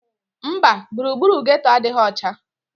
Mba, gburugburu geeto adịghị ọcha